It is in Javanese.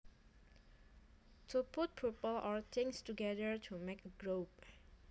To put people or things together to make a group